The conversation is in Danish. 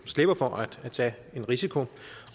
slipper for at tage en risiko